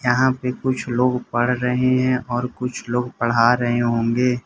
यहां पे कुछ लोग पढ़ रहे हैं और कुछ लोग पढ़ा रहे होंगे।